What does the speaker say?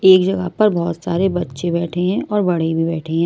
एक जगह पर बहुत सारे बच्चे बैठे हैंऔर बड़े भी बैठे हैं।